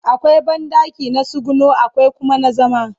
akwai banɗaki na tsuguno akwai Kuma na zama